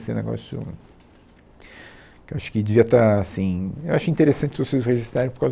Assim um negócio, que eu acho que devia estar assim, eu acho interessante vocês registarem por causa